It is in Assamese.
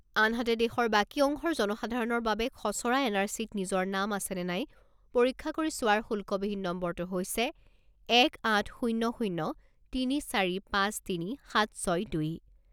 আনহাতে, দেশৰ বাকী অংশৰ জনসাধাৰণৰ বাবে খছৰা এন আৰ চিত নিজৰ নাম আছে নে নাই পৰীক্ষা কৰি চোৱাৰ শুল্কবিহীন নম্বৰটো হৈছে এক আঠ শূণ্য শূণ্য তিনি চাৰি পাঁচ তিনি সাত ছয় দুই।